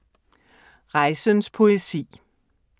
Rejsens poesi